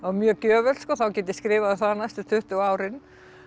mjög gjöfult þá get ég skrifað um það næstu tuttugu árin